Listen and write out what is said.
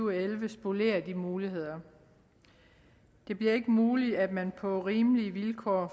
og elleve spolerer de muligheder det bliver ikke muligt at man på rimelige vilkår